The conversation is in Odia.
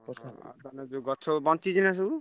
ତମ ଯୋଉ ଗଛ ବଞ୍ଚିଛିନା ସବୁ?